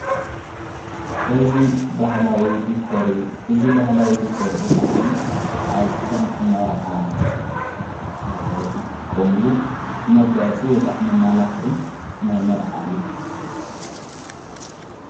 እ ብላ ዲር እዩ እዝ በህላዊ ዲኮር ዘ ኸዓኒ ኣብከም መርዓ ዘትቆሙሉ መጋያፂ ወይከዕ መ ማላኽዒ ናይ መርዓ እዩ።